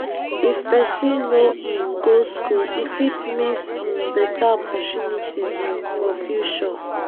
if pesin no um go school e fit miss um beta opportunity um for future.